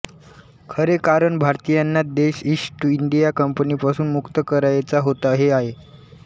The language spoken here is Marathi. खरे कारण भारतीयांना देश ईस्ट इंडिया कंपनीपासून मुक्त करायचा होता हे आहे